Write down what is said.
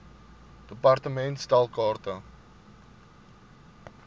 department stel kaarte